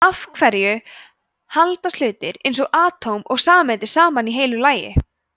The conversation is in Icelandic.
af hverju haldast hlutir eins og atóm og sameindir saman í heilu lagi